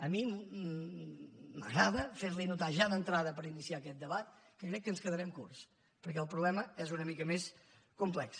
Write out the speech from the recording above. a mi m’agrada ferli notar ja d’entrada per iniciar aquest debat que crec que ens quedarem curts perquè el problema és una mica més complex